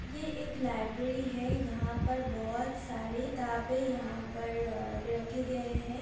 ये एक लाइब्रेरी है यहां पर बोहोत सारे किताबे यहां पर अ रखे गए हैं।